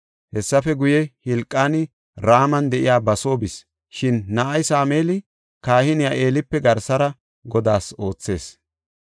Hessafe guye, Hilqaani Raman de7iya ba soo bis; shin na7ay Sameeli kahiniya Eelipe garsara Godaas oothees.